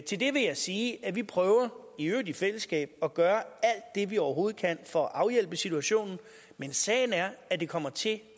til det vil jeg sige at vi prøver i øvrigt i fællesskab at gøre alt det vi overhovedet kan for at afhjælpe situationen men sagen er at det kommer til